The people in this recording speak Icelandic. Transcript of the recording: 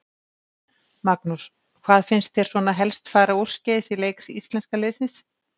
Magnús: Hvað fannst þér svona helst fara úrskeiðis í leik íslenska liðsins?